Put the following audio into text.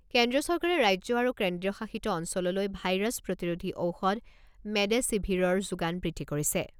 কেন্দ্ৰীয় চৰকাৰে ৰাজ্য আৰু কেন্দ্ৰীয় শাসিত অঞ্চললৈ ভাইৰাছ প্ৰতিৰোধী ঔষধ মেডেছিভিৰৰ যোগান বৃদ্ধি কৰিছে।